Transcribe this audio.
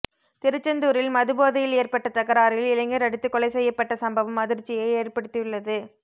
திருச்செந்தூரில் மதுபோதையில் ஏற்பட்ட தகராறில் இளைஞர் அடித்துக் கொலை செய்யப்பட்ட சம்பவம் அதிர்ச்சியை ஏற்படுத்தியுள்ளது